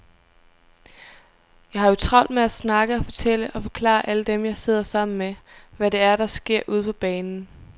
Jeg har jo travlt med at snakke og fortælle og forklare alle dem, jeg sidder sammen med, hvad det er, der sker ude på banen.